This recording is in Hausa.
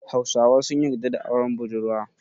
Hausawa sun yarda da auren budurwa.